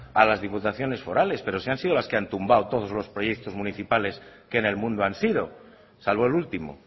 a las diputaciones forales pero si han sido las que han tumbado todos los proyectos municipales que en el mundo han sido salvo el último